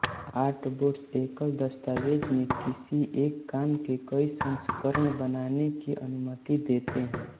artboards एकल दस्तावेज़ में किसी एक काम के कई संस्करण बनाने की अनुमति देते हैं